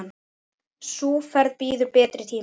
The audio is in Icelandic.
Sú ferð bíður betri tíma.